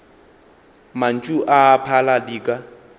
mantšu a a phala dika